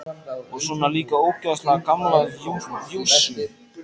Og svona líka ógeðslega gamla jússu.